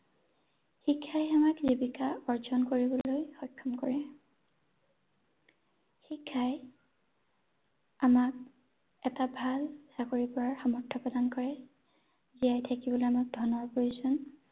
শিক্ষাই আমাক জীৱিকা অৰ্জন কৰিবলৈ সক্ষম কৰে শিক্ষাই আমাক এটা ভাল চাকৰি কৰাত সামৰ্থ প্ৰদান কৰে ৷ জীয়াই থাকিবলৈ আমাক ধনৰ প্ৰয়োজন